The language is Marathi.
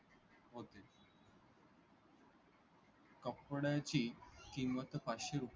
कपड्याची किंमत पाचशे रुपये